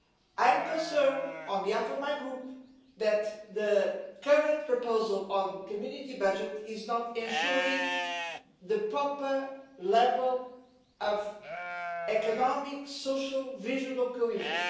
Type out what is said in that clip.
I am concerned, on behalf of my group, that the current proposal on the Community budget does not ensure the proper level of economic and social vision of cohesion.